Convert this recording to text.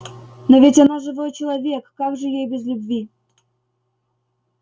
но ведь она живой человек как же ей без любви